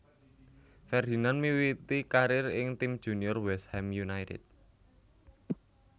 Ferdinand miwiti karier ing tim junior West Ham United